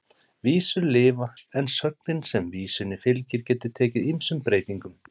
Vísur lifa en sögnin sem vísunni fylgir getur tekið ýmsum breytingum.